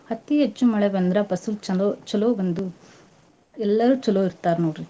ಅತೀ ಹೆಚ್ಚು ಮಳೆ ಬಂದ್ರ ಪಸಲ್ ಚಲೋ ಚಲೋ ಬಂದು ಎಲ್ಲರೂ ಚಲೋ ಇರ್ತಾರ್ ನೋಡ್ರಿ.